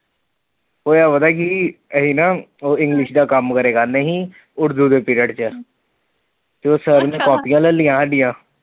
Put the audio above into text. ਹੋਇਆ ਪਤਾ ਕਿ ਸੀ, ਅਸੀਂ ਨਾ english ਦਾ ਕੰਮ ਕਰਦੇ ਸੀ ਉਰਦੂ ਦੇ period ਚ, ਤੇ ਉਹ , ਸਰ ਨੇ ਕਾਪੀਆਂ ਲੈ ਲਯਿਆਂ ਸਾਡੀਆਂ।